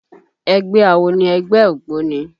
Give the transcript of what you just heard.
Ẹgbẹ́ awo ni ẹgbẹ́ ògbóni